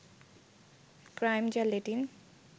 crime যা Latin